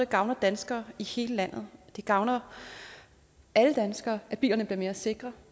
gavner danskere i hele landet det gavner alle danskere at bilerne bliver mere sikre